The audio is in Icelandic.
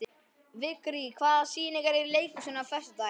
Vigri, hvaða sýningar eru í leikhúsinu á föstudaginn?